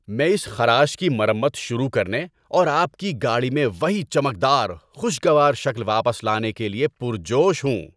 ‏میں اس خراش کی مرمت شروع کرنے اور آپ کی گاڑی میں وہی چمکدار، خوشگوار شکل واپس لانے کے لیے پرجوش ہوں!